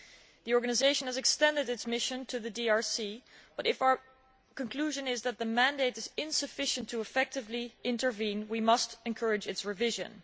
The organisation has extended its mission to the DRC but, if our conclusion is that the mandate is insufficient to effectively intervene, we must encourage its revision.